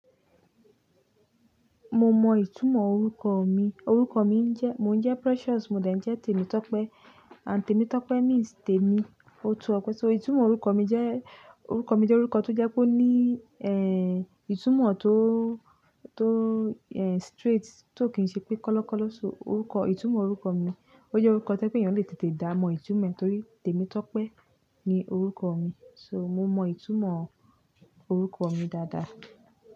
Mo mọ ìtumọ̀ orúkọ mi. Orúkọ mi jẹ́, mo ń jẹ́ Precious, mo dà jn ẹ́ Temitope. Ànd Temitope means Temi, ó tó ọpẹ́. So ìtumọ̀ orúkọ mi jẹ́, orúkọ mi jẹ́ orúkọ tó jẹ́ kó ní, ehn, ìtumọ̀ tó, tó, ehn, straight, tó kì ń ṣe pé kọ́lọ́kọ́lọ́. So orúkọ, ìtumọ̀ orúkọ mi, ó jẹ́ orúkọ to je pe ẹyàn le tètè dá mọ̀ ìtumọ̀ ẹ̀ torí Temitope ni orúkọ mi. So mo mọ ìtumọ̀ orúkọ mi dáadáa.